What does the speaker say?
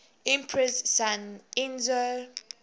emperor's son enzo